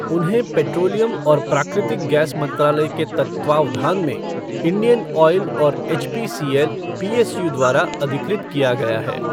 उन्हें पेट्रोलियम और प्राकृतिक गैस मंत्रालय के तत्वावधान में इंडियनऑयल और एचपीसीएल, पीएसयू द्वारा अधिकृत किया गया है।